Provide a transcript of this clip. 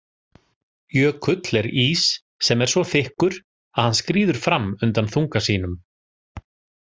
Jökull er ís sem er svo þykkur að hann skríður fram undan þunga sínum.